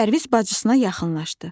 Pərviz bacısına yaxınlaşdı.